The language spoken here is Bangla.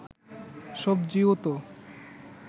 সবজিও তো